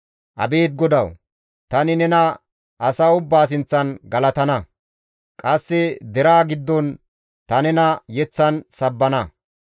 Abeet Godawu, tani nena asa ubbaa sinththan galatana; qasse deraa giddon ta nena yeththan sabbana.